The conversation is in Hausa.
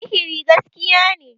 sihiri gaskiya ne